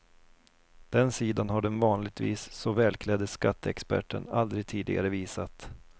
Den sidan har den vanligtvis så välklädde skatteexperten aldrig tidigare visat.